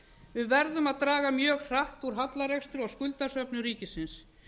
við verðum að draga mjög hratt úr hallarekstri og skuldasöfnun ríkisins